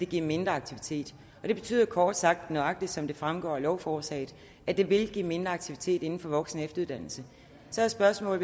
give mindre aktivitet og det betyder kort sagt nøjagtig som det fremgår af lovforslaget at det vil give mindre aktivitet inden for voksenefteruddannelse så er spørgsmålet